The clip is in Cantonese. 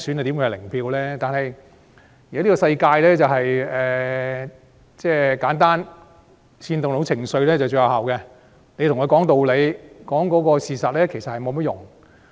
但在現今的世界，只要簡單、能煽動情緒便最有效，對他們說道理、講事實並沒有用。